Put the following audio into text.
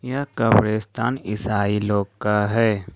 यह कब्रिस्तान ईसाई लोग का है।